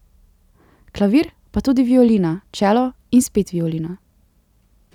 Klavir, pa tudi violina, čelo in spet violina.